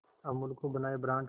अमूल को बनाया ब्रांड